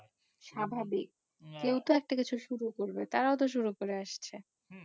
স্বাভাবিক কেউ তো একটা কিছু শুরু করবে, তারাও তো শুরু করে আসছে।